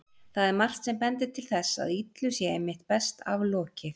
Það er margt sem bendir til þess að illu sé einmitt best aflokið.